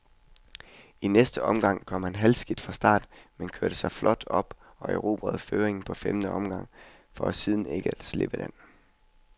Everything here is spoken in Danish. I næste omgang kom han halvskidt fra start, men kørte sig flot op og erobrede føringen på femte omgang, for ikke siden at slippe den.